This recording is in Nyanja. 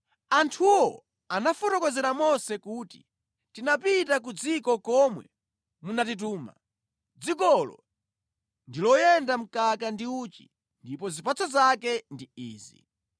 Anthuwo anafotokozera Mose kuti, “Tinapita ku dziko komwe munatituma. Dzikolo ndi loyenda mkaka ndi uchi ndipo zipatso zake ndi izi.